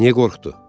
Niyə qorxdu?